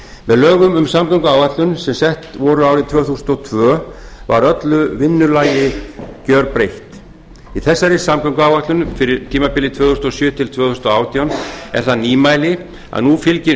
með lögum um samgönguáætlun sem sett voru árið tvö þúsund og tvö var öllu vinnulag gerbreytt í þessari samgönguáætlun fyrir tímabilið tvö þúsund og sjö til tvö þúsund og átján er það nýmæli að nú fylgir